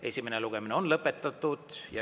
Esimene lugemine on lõpetatud.